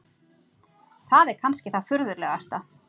Það er kannski það furðulegasta.